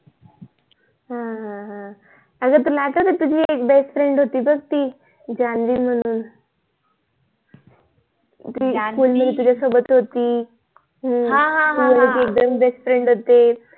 हम्म हम्म अग तुला आठवते तुझी एक BEST FRIEND होती बघ ती जानवी म्‍हणून SCHOOL ला तुझ्यासोबत होती अह अह जानवी तू आणि ती एकदम BEST FRIEND होते